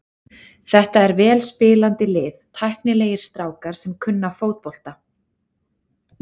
Þetta er vel spilandi lið, tæknilegir strákar sem kunna fótbolta.